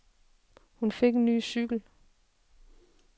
Hun fik en ny cykel.